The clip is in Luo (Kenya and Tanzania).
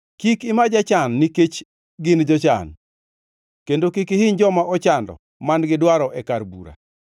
Kik ima jachan nikech gin jochan kendo kik ihiny joma ochando man-gi dwaro e kar bura,